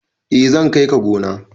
eh zan kai ka gona